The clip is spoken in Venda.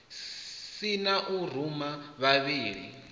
si na u ruma vhavhali